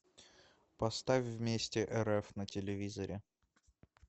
поставь вместе рф на телевизоре